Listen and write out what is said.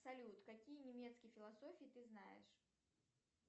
салют какие немецкие философии ты знаешь